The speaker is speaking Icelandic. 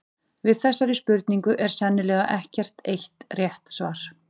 Við þessari spurningu er sennilega ekkert eitt rétt svar.